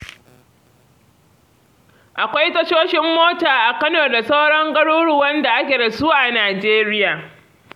Akwai tashoshin mota a Kano da sauran garuruwan da ake da su a Najeriya.